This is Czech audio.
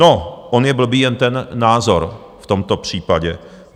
No, on je blbý jen ten názor v tomto případě.